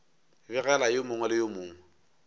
begela yo mongwe le yo